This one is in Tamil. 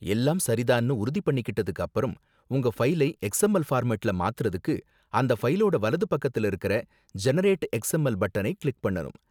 எல்லாம் சரி தான்னு உறுதி பண்ணிக்கிட்டதுக்கு அப்பறம், உங்க ஃபைலை எக்ஸ்எம்எல் ஃபார்மட்டுல மாத்தறதுக்கு அந்த ஃபைலோட வலது பக்கத்துல இருக்கற 'ஜெனெரேட் எக்ஸ்எம்எல்' பட்டனை கிளிக் பண்ணணும்.